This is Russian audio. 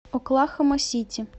оклахома сити